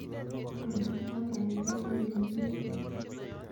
Konor uber nepo ole negit inei